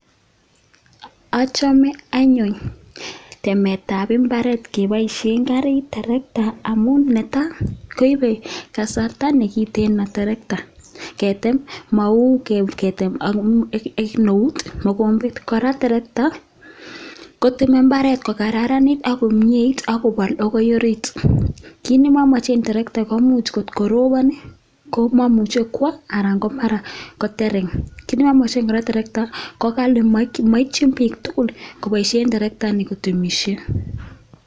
Achame anyuun temetab imbaaret kepoishen kariit trakta amun ne tai, koipe kasarta ne kitiin trakta ketem mau ketem ak eut mogombet. Kora, trekta koteme imbaret kokararanit ako myeit akopal akoi ariit, kiy nemomeche eng trakta komuch kotko ropon komamuche kwo anan ko mara kotereng. Kiiy nemomeche kora trakta ko ghali maitin biik tugul kopoishe traktani kotemishen.